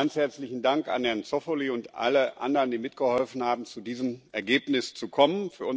Ganz herzlichen Dank an Herrn Zoffoli und alle anderen, die mitgeholfen haben, zu diesem Ergebnis zu kommen!